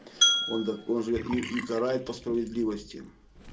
он так он же и и карает по справедливости